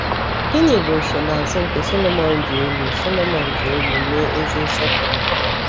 Gịnị bụ nsonaazụ nke Sọlọmọn ji elu Sọlọmọn ji elu mee ezi nsọpụrụ?